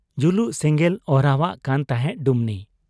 ᱡᱩᱞᱩᱜ ᱥᱮᱸᱜᱮᱞᱮ ᱚᱦᱨᱟᱣᱟᱜ ᱠᱟᱱ ᱛᱟᱦᱮᱸᱫ ᱰᱩᱢᱱᱤ ᱾